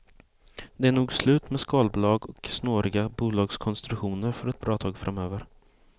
Det är nog slut med skalbolag och snåriga bolagskonstruktioner för ett bra tag framöver.